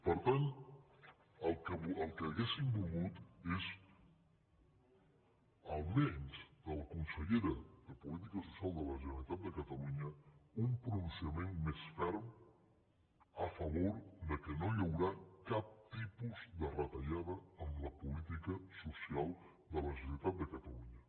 per tant el que hauríem volgut és almenys de la consellera de política social de la generalitat de catalunya un pronunciament més ferm a favor que no hi haurà cap tipus de retallada en la política social de la generalitat de catalunya